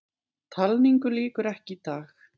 Talningu lýkur ekki í dag